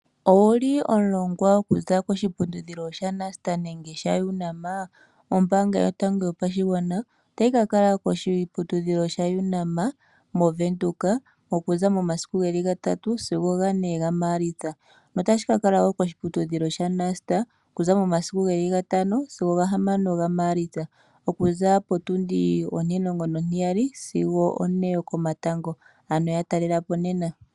Owu li omulongwa okuza koshiputudhilo shaNust nenge shaUnam? Oombaanga yotango yopashigwana otayi ka kala koshiputudhilo shaUnam mOvenduka okuza momasiku gatatu sigo gane gaMaalitsa, notayi ka kala wo koshiputudhilo shaNust okuza momasiku gatano sigo gahamano gaMaalitsa okuza potundi ontimulongo nontiyali sigo one yokomatango, ano ya talela po nena.